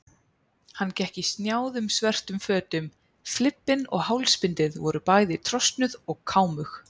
Hann gekk í snjáðum svörtum fötum, flibbinn og hálsbindið voru bæði trosnuð og kámug.